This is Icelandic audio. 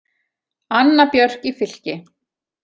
Anna Björk í Fylki.